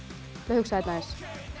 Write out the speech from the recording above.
að hugsa þetta aðeins